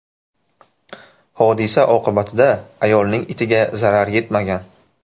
Hodisa oqibatida ayolning itiga zarar yetmagan.